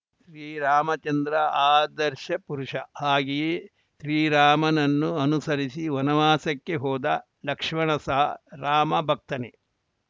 ಶ್ರೀ ರಾಮಚಂದ್ರ ಆದರ್ಶ ಪುರುಷ ಹಾಗೆಯೇ ಶ್ರೀರಾಮನನ್ನು ಅನುಸರಿಸಿ ವನವಾಸಕ್ಕೆ ಹೋದ ಲಕ್ಷ್ಮಣ ಸಹ ರಾಮ ಭಕ್ತನೆ